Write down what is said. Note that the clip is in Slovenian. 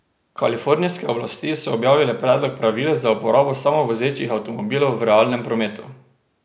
Kalifornijske oblasti so objavile predlog pravil za uporabo samovozečih avtomobilov v realnem prometu.